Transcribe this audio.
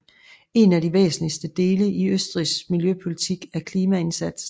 En af de væsentligste dele i Østrigs miljøpolitik er klimaindsatsen